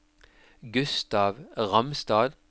Gustav Ramstad